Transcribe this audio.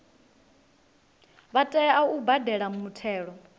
vha tea u badela muthelo